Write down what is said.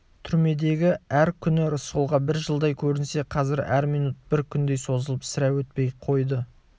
түрмедегі әр күні рысқұлға бір жылдай көрінсе қазір әр минут бір күндей созылып сірә өтпей қойды